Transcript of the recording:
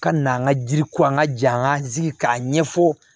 Ka n'an ka jiriko an ka ja sigi k'a ɲɛfɔ